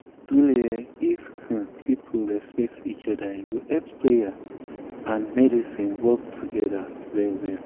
truely eeh if um people respect um each oda e go help prayer wait and medicine work togeda ah well well.